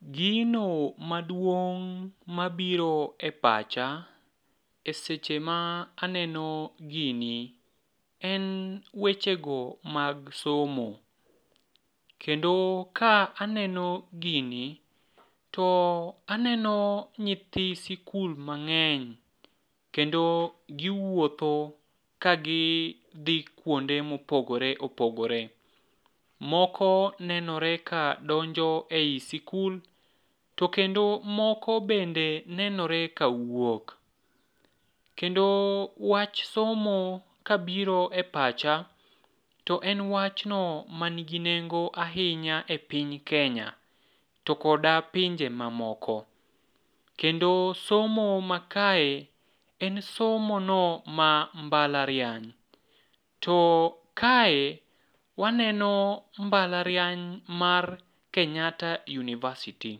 Gino maduong' mabiro e pacha e seche ma aneno gini en wechego mag somo, kendo ka aneno gini to aneno nyithi sikul mang'eny kendo giwuotho kagidhi kwonde mopogore opogore. Moko nenore ka donjo ei sikul, to kendo moko bende nenore kawuok. Kendo wach somo kabiro e pacha, to en wachno manigi nengo ahinya e piny kenya to koda pinje mamoko, kendo somo makae en somo no ma mbalariany, to kae waneno mbalariany mar Kenyatta University.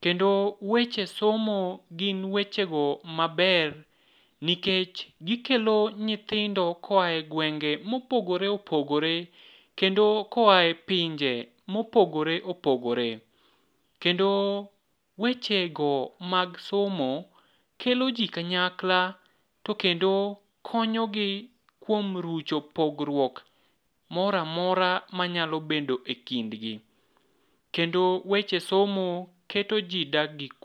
Kendo weche somo gin wechego maber nikech gikelo nyithindo koa e gwenge mopogore opogore kendo koa e pinje mopogore opogore, kendo wechego mag somo kelo ji kanyakla kendo konyogi kuom rucho pogruok moro amora manyalo bedo ekindgi, kendo weche somo keto ji dak gi kwe.